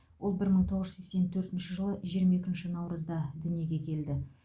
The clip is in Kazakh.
ол бір мың тоғыз жүз сексен төртінші жылы жиырма екінші наурызда дүниеге келді